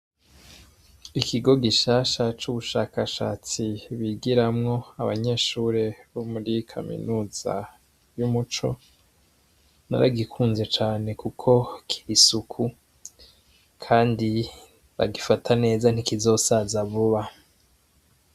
Ikigo gishasha c'ubushakashatsi bigiramwo abanyeshure bo muri kaminuza y'umuco baragikunze cane kuko kiri isuku kandi bagifata neza ntikizosaza vuba.